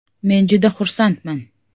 Men juda xursandman.